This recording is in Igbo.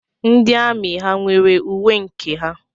Ndị amị ha nwere uwe nke ha?